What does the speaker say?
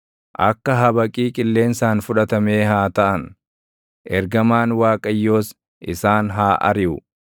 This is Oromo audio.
Akka habaqii qilleensaan fudhatamee haa taʼan; ergamaan Waaqayyoos isaan haa ariʼu.